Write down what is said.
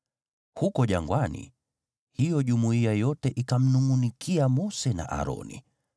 Huko jangwani hiyo jumuiya yote wakawanungʼunikia Mose na Aroni.